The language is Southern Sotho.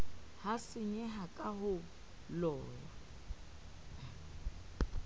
ha senyeha ka holong ya